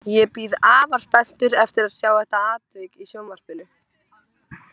Ég bíð afar spenntur eftir að sjá þetta atvik í sjónvarpinu